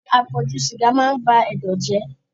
Àpọ̀jù sìgá maá ń ba Ẹdọ̀ jẹ́.